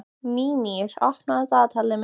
Mímir, opnaðu dagatalið mitt.